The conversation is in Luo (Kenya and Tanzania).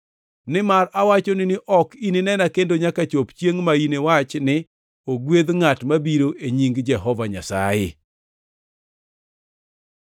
Nimar awachoni ni ok ininena kendo nyaka chop chiengʼ ma iniwach ni, ‘Ogwedh ngʼat mabiro e nying Jehova Nyasaye.’ + 23:39 \+xt Zab 118:26\+xt* ”